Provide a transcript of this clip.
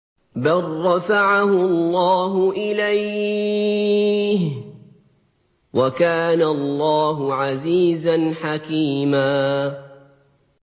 بَل رَّفَعَهُ اللَّهُ إِلَيْهِ ۚ وَكَانَ اللَّهُ عَزِيزًا حَكِيمًا